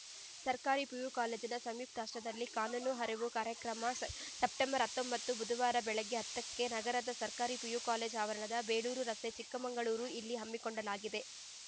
ಸರ್ಕಾರಿ ಪಿಯುಕಾಲೇಜಿನ ಸಂಯುಕ್ತಾಶ್ರಯದಲ್ಲಿ ಕಾನೂನು ಅರಿವು ಕಾರ್ಯಕ್ರಮ ಸ್ ಸೆಪ್ಟೆಂಬರ್ ಹತ್ತೊಂಬತ್ತು ಬುಧವಾರ ಬೆಳಗ್ಗೆ ಹತ್ತಕ್ಕೆ ನಗರದ ಸರ್ಕಾರಿ ಪಿಯು ಕಾಲೇಜ ಆವರಣ ಬೇಲೂರು ರಸ್ತೆ ಚಿಕ್ಕಮಗಳೂರು ಇಲ್ಲಿ ಹಮ್ಮಿಕೊಳ್ಳಲಾಗಿದೆ